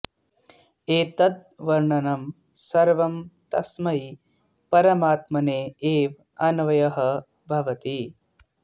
एतद् वर्णनं सर्वं तस्मै परमात्मने एव अन्वयः भवति